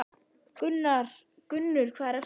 Gunnur, hvað er að frétta?